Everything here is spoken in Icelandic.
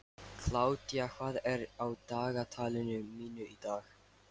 Kládía, hvað er á dagatalinu mínu í dag?